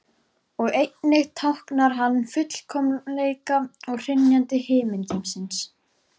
Og einnig táknar hann fullkomleika og hrynjandi himingeimsins.